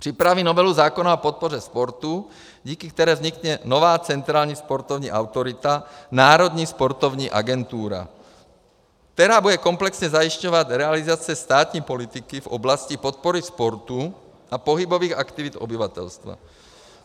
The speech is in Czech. Připraví novelu zákona o podpoře sportu, díky které vznikne nová centrální sportovní autorita, národní sportovní agentura, která bude komplexně zajišťovat realizaci státní politiky v oblasti podpory sportu a pohybových aktivit obyvatelstva.